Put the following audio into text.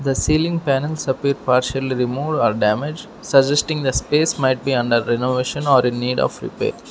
The ceiling panels appear partial removed or damaged suggesting the space might be under renovation or in need of repair.